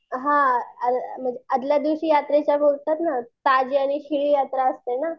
अ हां आदल्या दिवशी यात्रेच्या ताजी आणि शिळी यात्रा असते